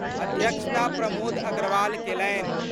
अध्यक्षता प्रमोद अग्रवाल केलनि।